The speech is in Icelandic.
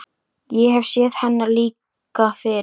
Ég hef séð hennar líka fyrr.